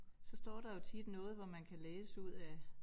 Så står der jo tit noget hvor man kan læse ud af